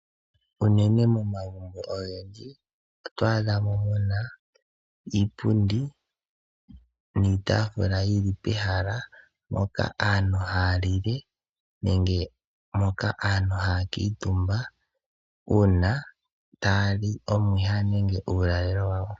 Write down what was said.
Momagumbo ogendji oto adhamo muna iipundi niitafula yili pehala mpoka aantu haya lile nenge moka aantu haya kuutumba uuna taya li omwiha nenge uulalelo wawo.